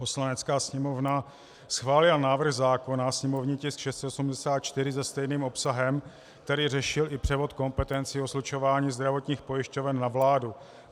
Poslanecká sněmovna schválila návrh zákona, sněmovní tisk 684, se stejným obsahem, který řešil i převod kompetencí o slučování zdravotních pojišťoven na vládu.